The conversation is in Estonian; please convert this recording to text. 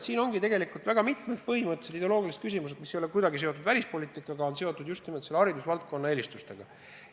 Siin ongi tegelikult väga mitmed põhimõttelised ideoloogilised küsimused, mis ei ole kuidagi seotud välispoliitikaga, vaid just nimelt haridusvaldkonna eelistustega.